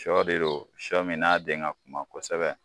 Sɔ de don sɔ min n'a den ka kuma kosɛbɛ.